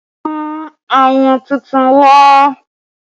Mú ayùn tuntun wá!